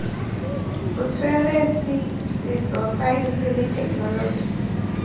botsweretshi setso saense le thekenoloji